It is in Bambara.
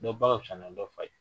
Dɔ ba ka fisa na dɔ fa ye.